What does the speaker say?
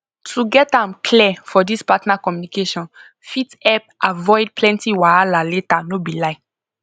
to get am clear for this partner communication fit help avoid plenty wahala later no be lie